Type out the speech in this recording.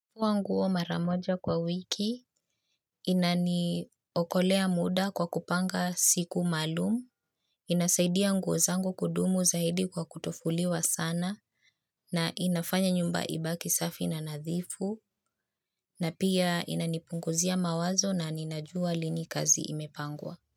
Kuvaa nguo mara moja kwa wiki, inaniokolea muda kwa kupanga siku maalumu, inasaidia nguo zango kudumu zaidi kwa kutofuliwa sana, na inafanya nyumba ibaki safi na nadhifu, na pia inanipunguzia mawazo ninajua lini kazi imepangwa.